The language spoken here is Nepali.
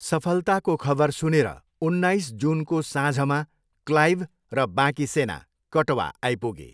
सफलताको खबर सुनेर उन्नाइस जुनको साँझमा क्लाइभ र बाँकी सेना कटवा आइपुगे।